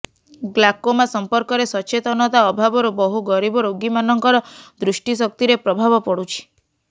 glaucoma ସମ୍ପର୍କରେ ସଚେତନତା ଅଭାବରୁ ବହୁ ଗରିବ ରୋଗୀମାନଙ୍କର ଦୃଷ୍ଟିଶକ୍ତିରେ ପ୍ରଭାବ ପଡୁଛି